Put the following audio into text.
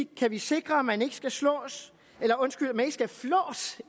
kan vi sikre at man ikke skal flås